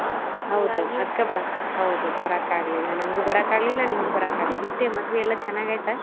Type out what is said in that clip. ಹೌದು ಅದಕ್ಕಾಗಿ ಹೌದು ಬರಾಕ್ ಆಗ್ಲಿಲ್ಲ ನಂಗು ಬರಾಕ್ ಆಗ್ಲಿಲ್ಲಾ ನಿಂಗು ಬರಾಕ್ ಆಗ್ಲಿಲ್ಲ ಮತ್ತೆ ಮದ್ವಿ ಎಲ್ಲಾ ಚನ್ನಾಗಿ ಆಯ್ತಾ?